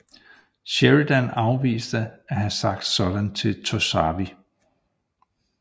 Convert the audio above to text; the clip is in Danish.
Sheridan afviste at have sagt sådan til Tosawi